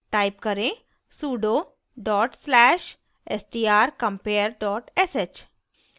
type करें: sudo dot slash strcompare dot sh